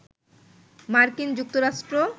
মার্কিন যুক্তরাষ্ট্র